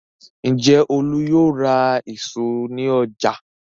Ǹjẹ́ Olú yóò ra ìṣó ní ọjà?